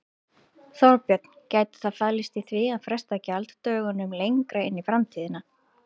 Þorbjörn: Gæti það falist í því að fresta gjalddögunum lengra inn í framtíðina?